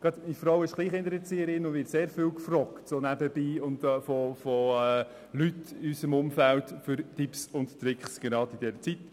Meine Frau ist Kleinkindererzieherin und wird sehr viel von Leuten in unserem Umfeld nebenbei nach Tipps und Tricks gefragt.